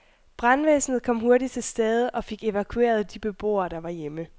Brandvæsenet kom hurtigt til stede og fik evakueret de beboere, der var hjemme.